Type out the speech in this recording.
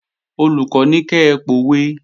Olùkọ́ ní kẹ pòwe!